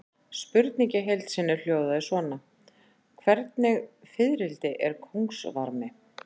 Spurningin í heild sinni hljóðaði svona: Hvernig fiðrildi er kóngasvarmi?